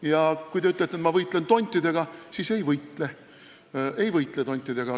Ja kui te ütlete, et ma võitlen tontidega, siis ei, ma ei võitle tontidega.